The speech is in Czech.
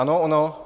Ano, ano.